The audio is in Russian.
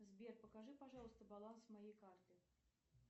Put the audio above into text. сбер покажи пожалуйста баланс моей карты